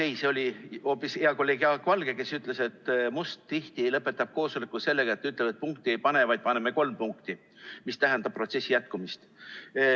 Ei, see oli hoopis hea kolleeg Jaak Valge, kes ütles, et Must lõpetab tihti koosoleku sellega, et ütleb, et punkti ei pane, vaid paneme kolm punkti, mis tähendab protsessi jätkumist.